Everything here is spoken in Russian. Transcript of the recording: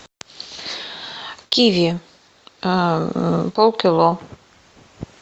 киви пол кило